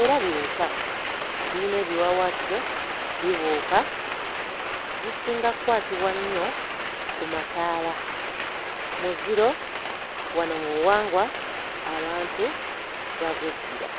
era biwuka biyina ebiwawaatiro bibuuka zisinga kkwatibwa nnyo ku mataala muziro wano mu buwangwa abantu bagweddira.